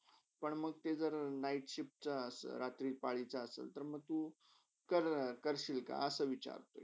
पण म ते जर night शिफ्टचा, रात्रपालीचा असला तर मंग तू तर करशील का?